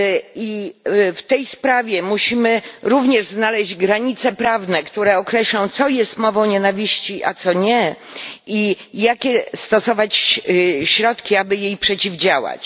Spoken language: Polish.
I w tej sprawie musimy również znaleźć granice prawne, które określą, co jest mową nienawiści, a co nie, i jakie stosować środki, aby jej przeciwdziałać.